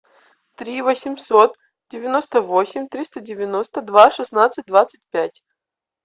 три восемьсот девяносто восемь триста девяносто два шестнадцать двадцать пять